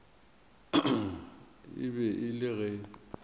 e be e le ge